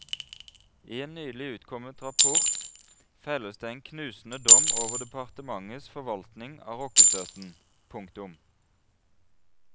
I en nylig utkommet rapport felles det en knusende dom over departementets forvaltning av rockestøtten. punktum